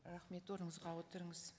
рахмет орныңызға отырыңыз